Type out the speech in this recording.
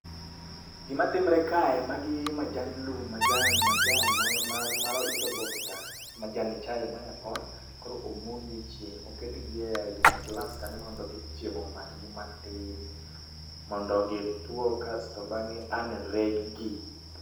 Gimatimre kae, magi majand lum majan majan mar mar it oboke ka. majani chai moyapon, koro omogi e chieng', oketgi e gine glass kanyo mondo chieng' omakgi matin mondo gitwo kasto bang'e an reg gi